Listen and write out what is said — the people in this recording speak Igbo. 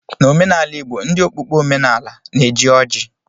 N'omenala Igbo ndị okpukpe omenaala na-eji ọjị